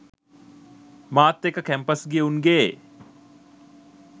මාත් එක්ක කැම්පස් ගිය උන්ගේ